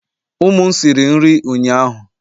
ụmụ m siri nri ụnyahụ